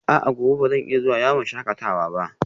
A'a, gobe ba zan iya zuwa yawon shakatawa ba?